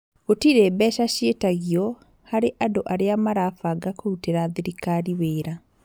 Gũtirĩ mbeca ciĩtagio harĩ andũ arĩa marabanga kũrutĩra thirikari wĩra